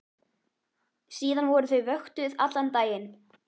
Síðan voru þau vöktuð allan daginn.